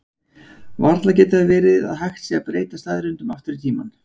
Varla getur það verið að hægt sé að breyta staðreyndum aftur í tímann?